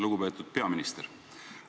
Lugupeetud peaminister!